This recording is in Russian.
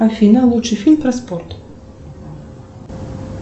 афина лучший фильм про спорт